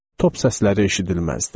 Top səsləri eşidilməzdi.